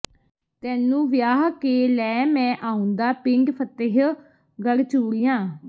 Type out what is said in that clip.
ਤੈਨੂੰ ਵਿਆਹ ਕੇ ਲੈ ਮੈਂ ਆਉਂਦਾ ਪਿੰਡ ਫਤਿਹਗੜ੍ਹ ਚੂੜੀਆਂ